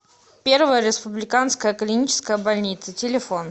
первая республиканская клиническая больница телефон